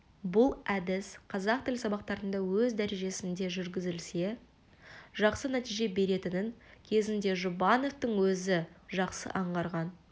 бұл әдіс қазақ тілі сабақтарында өз дәрежесінде жүргізілсе жақсы нәтиже беретінін кезінде жұбановтың өзі жақсы аңғарған